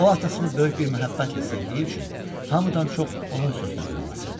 O atasını böyük bir məhəbbətlə sevdiyi üçün hamıdan çox onun sözünə qulaq asırdı.